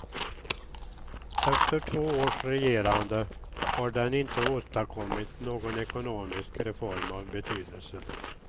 Efter två års regerande har den inte åstadkommit någon ekonomisk reform av betydelse.